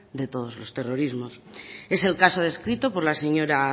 de todos los terrorismos es el caso descrito por la señora